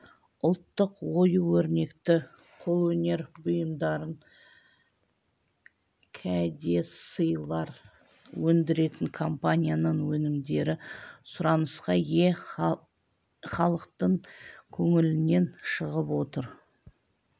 ұлттық ою-өрнекті қолөнер бұйымдарын кәдесыйлар өндіретін компанияның өнімдері сұранысқа ие халықтың көңілінен шығып отыр